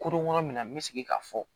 Koronko yɔrɔ min na n bɛ segin ka fɔ